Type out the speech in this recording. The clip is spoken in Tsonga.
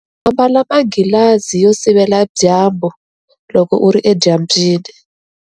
Ambala manghilazi yo sivela dyambu loko u ri edyambyini.